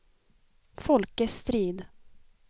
Folke Strid